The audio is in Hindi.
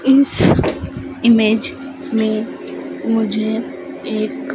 इस इमेज में मुझे एक--